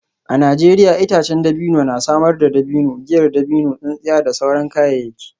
A Najeriya itacen dabino na samar da dabino, giyar dabino, tsintsiya da sauran kayayyaki.